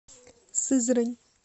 сызрань